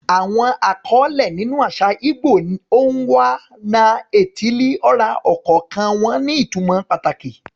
Àwọn àkọlé nínú àṣà ìgbò ni "Onwa-na-etili-ora," ọ̀kọ̀ọ̀kan wọn ní ìtumọ̀ pàtàkì.